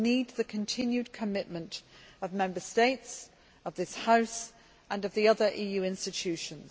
We need the continued commitment of Member States, of this House and of the other EU institutions.